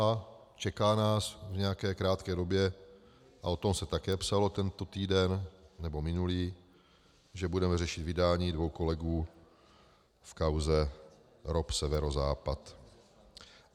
A čeká nás v nějaké krátké době, a o tom se také psalo tento týden, nebo minulý, že budeme řešit vydání dvou kolegů v kauze ROP Severozápad.